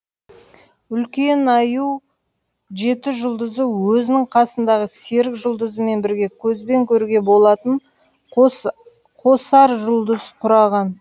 үлкен аю жеті жұлдызы өзінің қасындағы серік жұлдызымен бірге көзбен көруге болатын қос қосаржұлдыз құраған